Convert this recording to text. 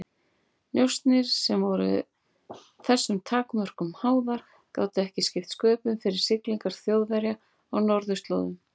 Njósnir, sem voru þessum takmörkunum háðar, gátu ekki skipt sköpum fyrir siglingar Þjóðverja á norðurslóðum.